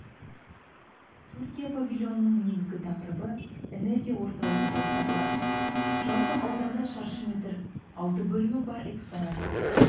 түркия павильонының негізгі тақырыбы энергия орталығы болып табылады жалпы ауданы шаршы метр алты бөлім бар экспонат